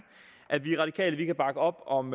at vi radikale kan bakke op om